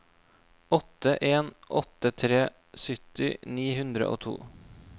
åtte en åtte tre sytti ni hundre og to